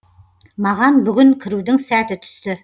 маған бүгін кірудің сәті түсті